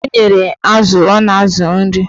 O nyere azụ ọ na-azụ nri